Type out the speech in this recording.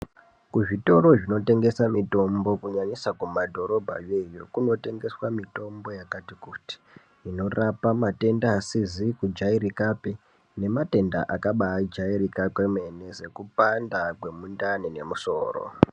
Kuzvitoro zvinoshandisa mitombo zvakanyanyisa kumadhorobha yoiyo, kunotengeswa mitombo yakati kuti, inorapa matenda asizi kujairikapi, nematenda akabaajairika kwemene sekupanda kwemundani nemusoro.